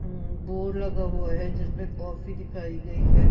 हम्म board लगा हुआ है जिसमें कॉफी दिखाई गई है।